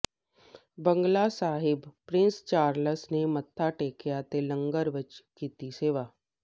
ਬੰਗਲਾ Sahib Prince Charles ਨੇ ਮੱਥਾ ਟੇਕਿਆ ਤੇ ਲੰਗਰ ਵਿਚ ਕੀਤੀ ਸੇਵਾ